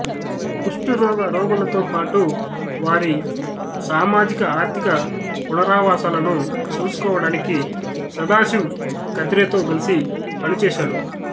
కుష్ఠురోగ రోగులతో పాటు వారి సామాజిక ఆర్థిక పునరావాసాలను చూసుకోవడానికి సదాశివ్ కత్రేతో కలిసి పనిచేశాడు